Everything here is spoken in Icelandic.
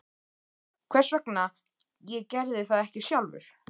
Hvers vegna ég gerði það ekki sjálfur?